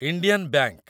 Indian ବାଙ୍କ